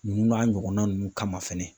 Ninnu n'a ɲɔgɔnna ninnu kama fɛnɛ